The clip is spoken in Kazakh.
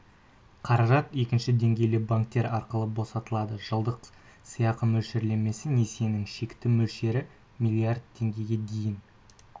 қаражат екінші деңгейлі банктер арқылы босатылады жылдық сыйақы мөлшерлемесі несиенің шектік мөлшері миллиард теңгеге дейін